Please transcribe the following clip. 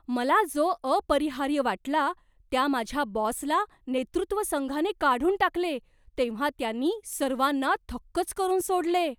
मला जो अपरिहार्य वाटला, त्या माझ्या बॉसला नेतृत्व संघाने काढून टाकले तेव्हा त्यांनी सर्वांना थक्कच करून सोडले.